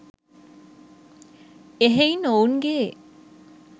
එ‍හෙයින් ඔවුන්ගේ